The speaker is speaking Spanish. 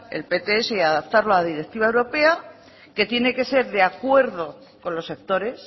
el pts y adaptarlo a la directiva europea que tiene que ser de acuerdo con los sectores